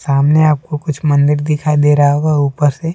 सामने आपको कुछ मंदिर दिखाई दे रहा होगा ऊपर से--